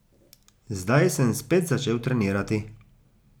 Zdaj sem spet začel trenirati.